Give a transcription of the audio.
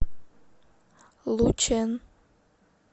лучэн